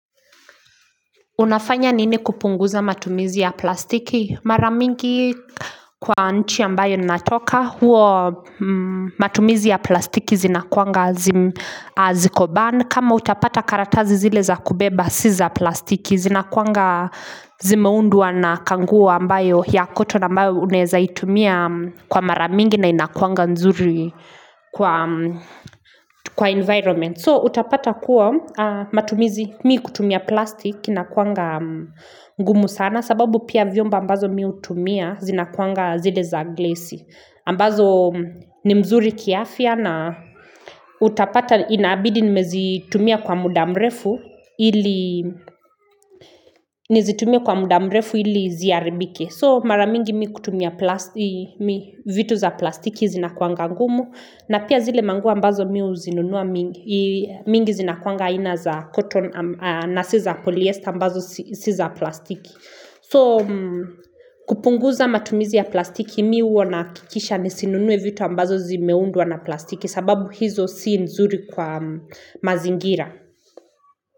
Unafanya nini kupunguza matumizi ya plastiki mara mingi kwa nchi ambayo natoka Huwa matumizi ya plastiki zinakuanga ziko banned kama utapata karatazi zile za kubeba si za plastiki zinakuanga zimeundwa na kanguo ambayo ya cotton ambayo unaeza itumia kwa maramingi na inakuanga nzuri kwa environment So utapata kuwa matumizi mimi kutumia plastiki inakuanga ngumu sana sababu pia vyombo ambazo mimi hutumia zinakuanga zile za glasi. Ambazo ni mzuri kiafya na utapata inabidi nimezitumia kwa muda mrefu ili nizitumie kwa muda mrefu ili ziaribike. So mara mingi mimi kutumia vitu za plastiki zinakuanga ngumu na pia zile manguo ambazo mimi huzinunuwa mingi zinakuanga aina za cotton na si za polyester ambazo si za plastiki. So kupunguza matumizi ya plastiki mimi huwa nakikisha ni sinunui vitu ambazo zimeundwa na plastiki sababu hizo si nzuri kwa mazingira.